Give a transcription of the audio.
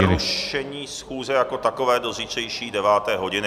Přerušení schůze jako takové do zítřejší deváté hodiny.